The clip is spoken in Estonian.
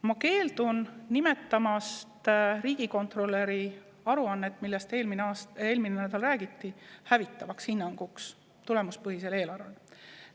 Ma keeldun nimetamast riigikontrolöri aruannet, millest eelmisel nädalal räägiti, hävitavaks hinnanguks tulemuspõhisele eelarvele.